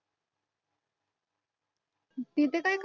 तिचं काय